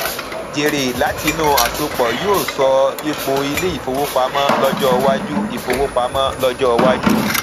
jèrè látinú àsopọ yóò sọ ipo ilé ìfowópamọ lọjọ iwájú ìfowópamọ lọjọ iwájú